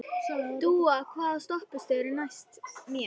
Dúa, hvaða stoppistöð er næst mér?